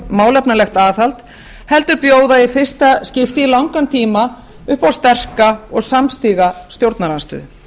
málefnalegt aðhald heldur bjóða í fyrsta skipti í langan tíma upp á sterka og samstiga stjórnarandstöðu